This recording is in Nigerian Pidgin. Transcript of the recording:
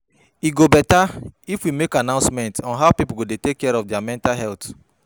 E go beta if we make announcement on how people go dey take care of their mental health